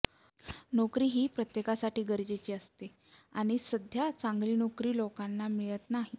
नोकरी ही प्रत्येकासाठी गरजेची असते आणि सध्या चांगली नौकरी लोकांना मिळत नाही